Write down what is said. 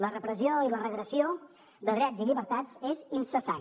la repressió i la regressió de drets i llibertats és incessant